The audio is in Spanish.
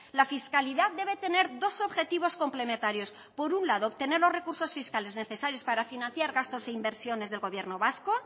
la fiscalidad debe tener dos objetivos complementarios por un lado obtener los recursos fiscales necesarios para financiar gastos e inversiones del gobierno vasco